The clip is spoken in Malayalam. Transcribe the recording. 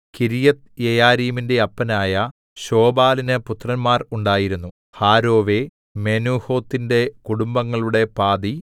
കിര്യത്ത്യെയാരീമിന്റെ അപ്പനായ ശോബാലിന് പുത്രന്മാർ ഉണ്ടായിരുന്നു ഹാരോവേ മെനൂഹോത്തിന്റെ കുടുംബങ്ങളുടെ പാതി